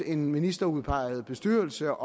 en ministerudpeget bestyrelse